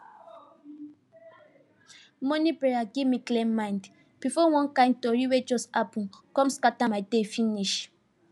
mornin prayer give me clear mind before one kain tori wey just happen come scatter my day finish